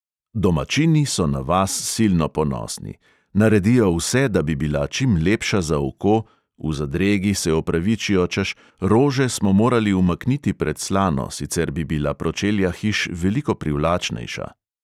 Domačini so na vas silno ponosni, naredijo vse, da bi bila čim lepša za oko, v zadregi se opravičijo, češ, rože smo morali umakniti pred slano, sicer bi bila pročelja hiš veliko privlačnejša.